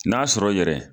N'a sɔrɔ yɛrɛ